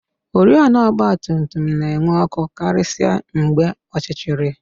Oriọna ọgbatumtum na-enwu ọkụ karịsịa maka ọchịchịrị